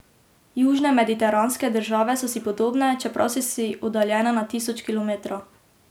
Južne mediteranske države so si podobne, čeprav so si oddaljene na tisoče kilometrov.